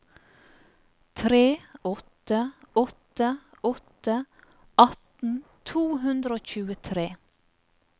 tre åtte åtte åtte atten to hundre og tjuetre